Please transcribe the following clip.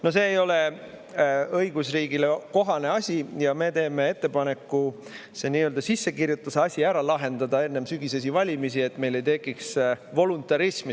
No see ei ole õigusriigile kohane asi ja me teeme ettepaneku see nii-öelda sissekirjutuse asi ära lahendada ennem sügisesi valimisi, et meil ei tekiks voluntarismi.